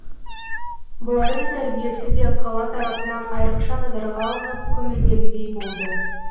бұлардың тәрбиесі де қала тарапынан айрықша назарға алынып көңілдегідей болды